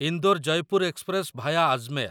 Indore Jaipur express via Ajmer